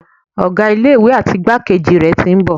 Ọ̀gá ilé ìwé àti igbákejì rẹ̀ tí ń bọ̀.